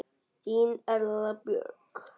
Þín Erla Björk.